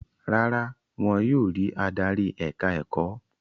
Rárá, wọn yóò rí adarí ẹ̀ka-ẹ̀kọ́.